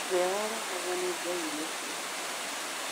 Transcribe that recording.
ũrĩa warehagwo nĩ ngai iria cietĩkĩtio